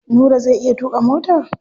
Nura zai iya tuƙa mota?